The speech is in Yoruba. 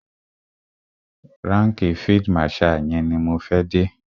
Ránkìì field marshal yẹn ni mo fẹ́ dé.